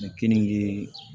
Mɛ kenige